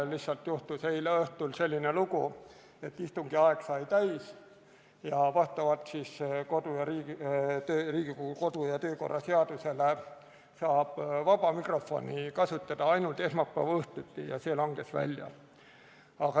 Lihtsalt eile õhtul juhtus selline lugu, et istungi aeg sai täis, aga vastavalt Riigikogu kodu- ja töökorra seadusele saab vaba mikrofoni kasutada ainult esmaspäeva õhtuti ja see võimalus langes välja.